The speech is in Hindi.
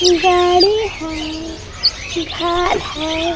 गाड़ी है घर है।